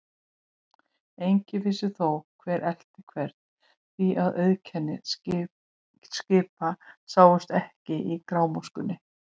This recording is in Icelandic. Enginn vissi þó, hver elti hvern, því að auðkenni skipa sáust ekki í grámóskunni.